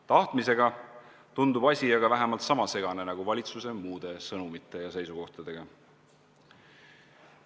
Tahtmisega tundub aga asi vähemalt sama segane olevat nagu valitsuse muude sõnumite ja seisukohtadega.